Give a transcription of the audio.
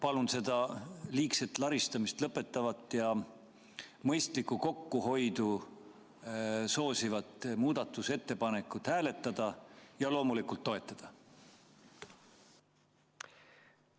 Palun seda liigset laristamist lõpetavat ja mõistlikku kokkuhoidu soosivat muudatusettepanekut hääletada ja loomulikult toetada!